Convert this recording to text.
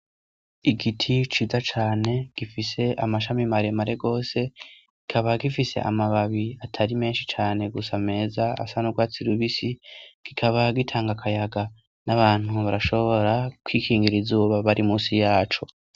Igiti ciza cane gifise amashami maremare gose, kikaba gifise amababi atari menshi cane gusa meza asa n'urwatsi rubisi, kikaba gitanga kayaga n'abantu barashobora kwikingira izuba bari munsi yaco.